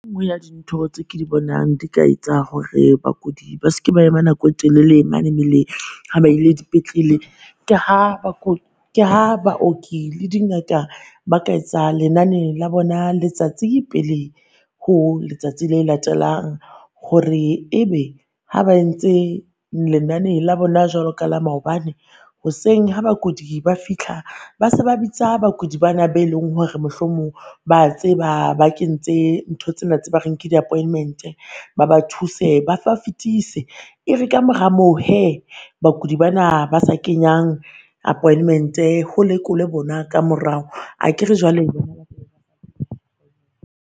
E nngwe ya dintho tse ke di bonang di ka etsa hore bakudi ba seke ba ema nako e telele mane meleng, ha ba ile dipetlele ke ha ke ha baoki le di Ngaka ba ka etsa lenane la bona letsatsi pele ho letsatsi le latelang. Hore ebe ha ba entse lenane la bona jwalo ka la maobane, hoseng ha bakudi ba fihla ba se ba bitsa bakudi ba na be leng hore mohlomong ba tseba ba kentse ntho tsena tse re nke di appointment-e. Ba ba thuse ba fetise, e re ka mora moo hee bakudi ba na ba sa kenyang appointment-e ho lekolwe bona ka morao akere jwale